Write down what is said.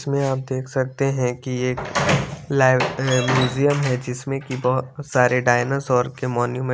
इसमें आप देख सकते है की एक लाई म्यूजियम है जिसमे की बहोत सारे डायनासोर के मोनुमेन है।